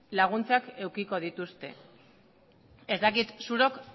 laguntzan edukiko dituzte ez dakit zuok